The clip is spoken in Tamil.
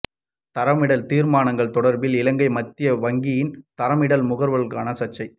தரமிடல் தீர்மானங்கள் தொடர்பில் இலங்கை மத்திய வங்கியின் தரமிடல் முகவர்களுடனான சர்ச்சை